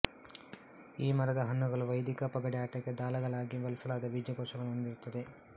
ಈ ಮರದ ಹಣ್ಣುಗಳು ವೈದಿಕ ಪಗಡೆ ಆಟಕ್ಕೆ ದಾಳಗಳಾಗಿ ಬಳಸಲಾದ ಬೀಜಕೋಶಗಳನ್ನು ಹೊಂದಿರುತ್ತದೆ